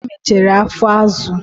Ude mechere afọ azụ